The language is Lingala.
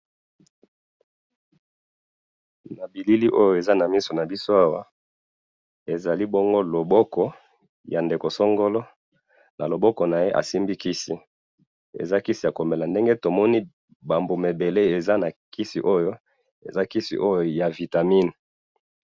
na bilili oyo eza na miso na biso awa, ezali bongo loboko ya ndeko songolo, na loboko naye asimbi kisi, eza kisi ya komela, ndenge tomoni ba mbuma ebele eza na kisi oyo, eza kisi oyo ya vitamine